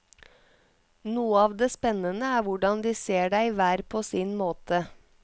Noe av det spennende er hvordan de ser deg hver på sin måte.